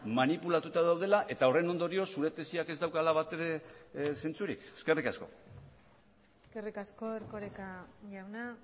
manipulatuta daudela eta horren ondorioz zure tesiak ez daukala bat ere zentzurik eskerrik asko eskerrik asko erkoreka jauna